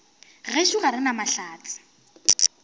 gešo ga re na mahlatse